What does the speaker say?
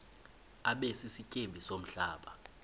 abe sisityebi somhlaba